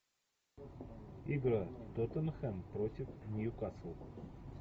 игра тоттенхэм против ньюкасл